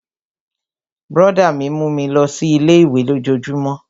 Brọ̀dá mi mú mi lọ sí ilé-ìwé lójojúmó